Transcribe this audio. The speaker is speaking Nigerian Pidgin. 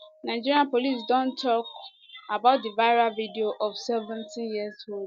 nigeria police don tok about di viral video of seventeenyear old